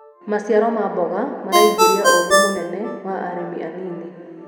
maciaro ma mboga maraingiria ugii mũnene wa arĩmi anĩnĩ